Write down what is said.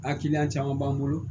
A kiliyan caman b'an bolo